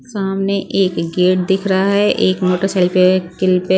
सामने एक गेट दिख रहा है एक मोटरसाइके पे किल पे--